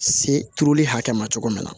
Se turuli hakɛ ma cogo min na